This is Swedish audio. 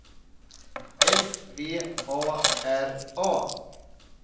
S V A R A